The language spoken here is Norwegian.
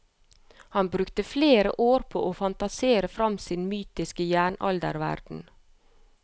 Han brukte flere år på å fantasere frem sin mytiske jernalderverden.